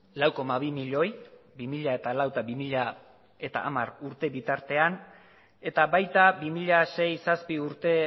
lau koma bi milioi bi mila lau eta bi mila hamar urte bitartean eta baita bi mila sei zazpi urte